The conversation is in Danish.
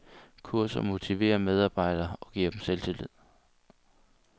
Kurser motiverer medarbejderne og giver dem selvtillid.